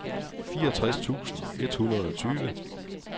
fireogtres tusind et hundrede og tyve